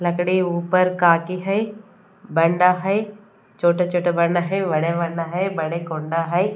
लकड़ी ऊपर काटी है बंडा है छोटे छोटे बंडा है बड़े बंडा है बड़े कोंडा है।